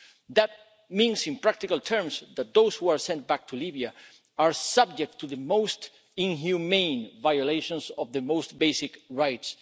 That means, in practical terms, that those who are sent back to Libya are subject to the most inhumane violations of their most basic rights.